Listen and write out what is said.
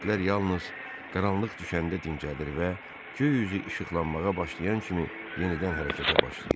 İtlər yalnız qaranlıq düşəndə dincəlir və göy üzü işıqlanmağa başlayan kimi yenidən hərəkətə başlayırdılar.